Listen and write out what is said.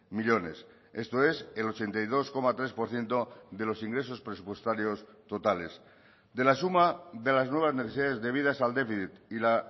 millónes esto es el ochenta y dos coma tres por ciento de los ingresos presupuestarios totales de la suma de las nuevas necesidades debidas al déficit y la